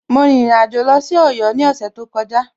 Mo rìnrìn àjò lọ sí Ọ̀yọ́ ní ọ̀sẹ̀ tó kọjá.